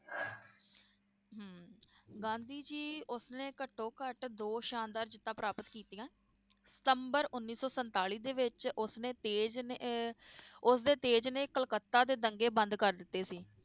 ਗਾਂਧੀ ਜੀ ਉਸਨੇ ਘਟੋਂ-ਘਟ ਦੋ ਸ਼ਾਨਦਾਰ ਜਿੱਤਾਂ ਪ੍ਰਾਪਤ ਕੀਤੀਆਂ ਸਤੰਬਰ ਉੱਨੀ ਸੌ ਸੰਤਾਲੀ ਦੇ ਵਿਚ ਉਸਨੇ ਤੇਜ ਨੇ~ ਅਹ ਉਸਦੇ ਤੇਜ ਨੇ ਕਲਕੱਤਾ ਦੇ ਦੰਗੇ ਬੰਦ ਕਰ ਦਿੱਤੇ ਸੀ